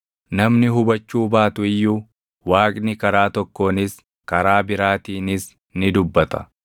Namni hubachuu baattu iyyuu, Waaqni karaa tokkoonis, karaa biraatiinis ni dubbata.